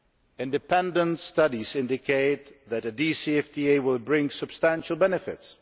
Independent studies indicate that a DCFTA will bring substantial benefits.